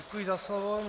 Děkuji za slovo.